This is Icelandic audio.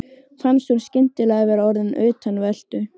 Fannst hún skyndilega vera orðin utanveltu.